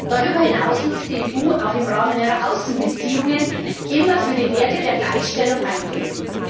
Darüber hinaus muss die EU auch im Rahmen ihrer Außenbeziehungen immer für die Werte der Gleichstellung eintreten.